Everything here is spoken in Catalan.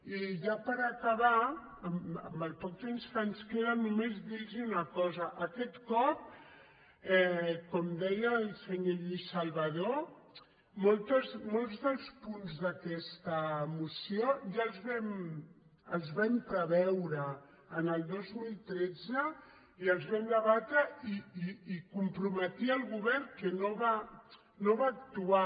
i ja per acabar amb el poc temps que ens queda no·més dir·los una cosa aquest cop com deia el senyor lluís salvadó molts dels punts d’aquesta moció ja els vam preveure el dos mil tretze i els vam debatre i comprome·tia el govern que no va actuar